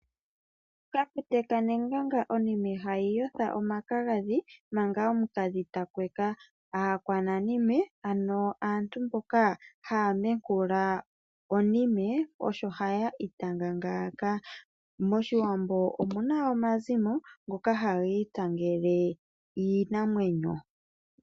Kafute kanenganga onime hayi otha omakagadhi manga omukadhi takweka. Aakwananime ano aantu mboka ha menkula onime osho ha iitanga ngaaka. Moshiwambo omuna omazimo ngoka haga itangele iinamwenyo .